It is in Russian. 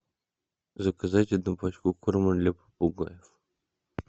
заказать одну пачку корма для попугаев